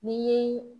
Ni